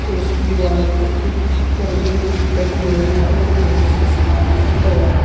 उसकी दीवार पर खुद पर्दे लगे हुए हैं और बहुत सा सामान रखा हुआ है।